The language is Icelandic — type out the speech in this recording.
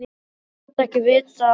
Það gat ekki vitað á gott.